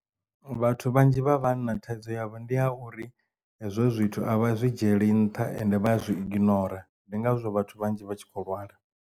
Vhathu vhanzhi vha vhanna thaidzo yavho ndi ya uri hezwo zwithu avha zwi dzhieli nṱha ende vha zwi iginora ndi ngazwo vhathu vhanzhi vha tshi kho lwala.